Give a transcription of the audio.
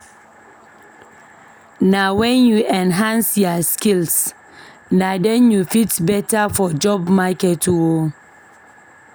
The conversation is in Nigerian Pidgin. Nah when u enhance ya skills na den u fit compete beta for job market oo